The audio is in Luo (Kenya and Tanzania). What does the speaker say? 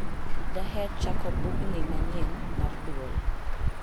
daher chako bugnni manyien mar duol